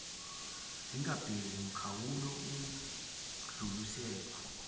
zingabeki mkhawulo ukudluliselwa